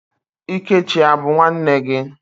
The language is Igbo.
Ikechi a bụ nwanne gị?